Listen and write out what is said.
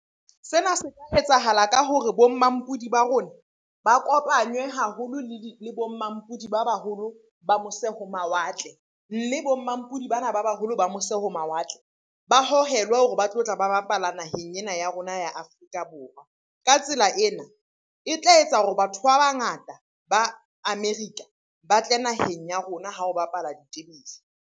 Sena se tla etsahala ka hore bo mmampudi ba rona ba kopanywe haholo le bo mmampudi ba baholo ba mose ho mawatle. Mme bo mmampudi bana ba baholo ba mose ho mawatle ba hohelwa hore ba tlotla ba bapala naheng ena ya rona ya Afrika Borwa. Ka tsela ena, e tla etsa hore batho ba bangata ba America ba tle naheng ya rona ha o bapala .